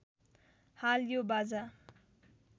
हाल यो बाजा